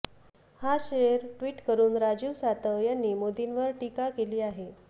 हा शेर ट्विट करून राजीव सातव यांनी मोदींवर टीका केली आहे